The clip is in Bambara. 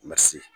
Ma se